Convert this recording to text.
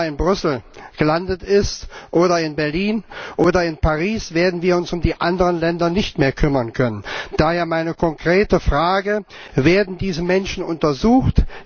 Wenn es einmal in Brüssel gelandet ist oder in Berlin oder in Paris, werden wir uns um die anderen Länder nicht mehr kümmern können. Daher meine konkrete Frage Werden diese Menschen untersucht?